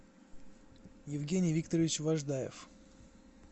евгений викторович важдаев